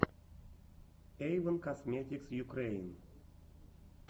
эйвон косметикс юкрэин